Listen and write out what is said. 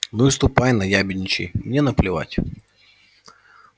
ну и ступай наябедничай мне наплевать